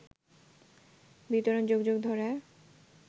বিতরণ যুগ যুগ ধরে